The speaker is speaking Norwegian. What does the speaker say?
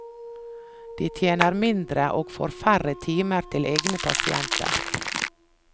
De tjener mindre, og får færre timer til egne pasienter.